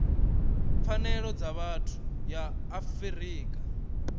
pfanelo dza vhathu ya afrika